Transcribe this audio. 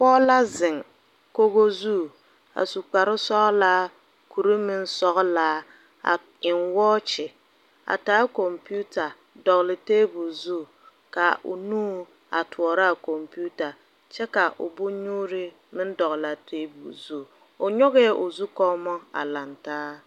Poɔ la zeng kogo zu a su kpari sɔglaa kuri meng sɔglaa a en wɔkyi a taa komputar dɔgli tabuli zu ka ɔ nu a toɔraa komputar kye ka ɔ bonnyuuri meng dɔgli a tabulo zu ɔ nyuge ɔ zukummo a langtaa.